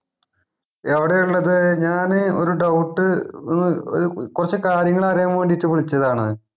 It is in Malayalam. എവിടെയാ ഇള്ളത് ഞാന് ഒരു doubt അഹ് ഒരു കൊറച്ച് കാര്യങ്ങളറിയാൻ വേണ്ടീട്ട് വിളിച്ചതാണ്.